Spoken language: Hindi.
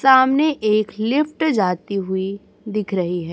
सामने एक लिफ्ट जाती हुई दिख रही है।